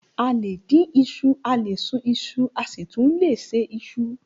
A lè dín iṣu, a lè sun iṣu asi tun le se isu.